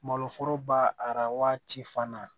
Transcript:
Malo foroba arabaa ci fana